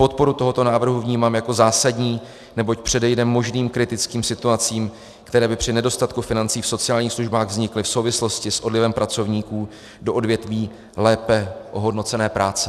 Podporu tohoto návrhu vnímám jako zásadní, neboť předejde možným kritickým situacím, které by při nedostatku financí v sociálních službách vznikly v souvislosti s odlivem pracovníků do odvětví lépe ohodnocené práce.